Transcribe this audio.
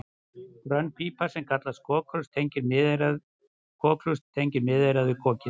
Grönn pípa sem kallast kokhlust tengir miðeyrað við kokið.